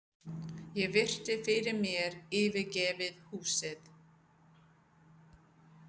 Ég virti fyrir mér yfirgefið húsið.